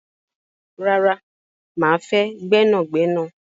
Rara, máa fẹ́ gbẹ́nàgnẹ́nà